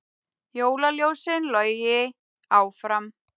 Jólaljósin logi áfram